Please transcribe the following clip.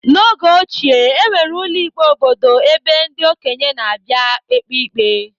N'oge ochie, enwere ụlọ ikpe obodo ebe ndị okenye na-abịa ekpe ikpe.